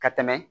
Ka tɛmɛ